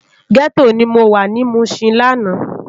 Gètó ni mó wá ni Mushin làná